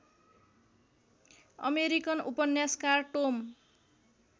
American उपन्यासकार Tomé